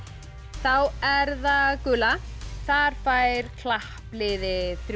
þá er það gula þar fær klappliðið þrjú